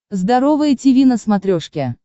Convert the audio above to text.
здоровое тиви на смотрешке